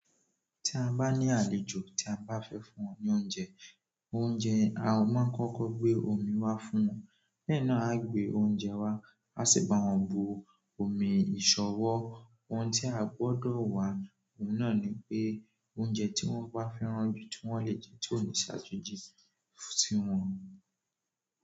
Tí a bá ní àlejò tí a bá fẹ fún wón ní oúnjẹ, a máa kọkọ gbé omi wá fún wọn bẹ́ẹ̀ náà a gbé oúnjẹ wá, a sì bawọn but omi isanwọ ohun tí a gbọ́dọ̀ wà, òun náà ni pé oúnjẹ tí wọ́n bá fẹ́ràn jù tí wọ́n lè jẹ tí kò ní ṣàjèjì siwọn.